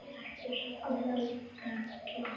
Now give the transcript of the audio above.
Ertu sofnuð, Erla?